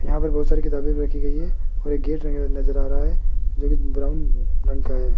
यहां पर बहोत सारी किताबें भी रखी गई है और एक गेट लगा हुआ नजर आ रहा है जो कि ब्राउन रंग का है।